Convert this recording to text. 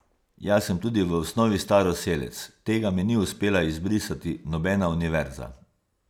Jaz sem tudi v osnovi staroselec, tega mi ni uspela izbrisati nobena univerza.